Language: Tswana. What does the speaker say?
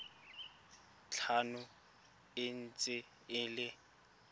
tlhano e ntse e le